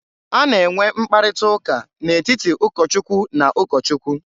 A na-enwe mkparịta ụka n'etiti ụkọ Chukwu na ụkọ Chukwu.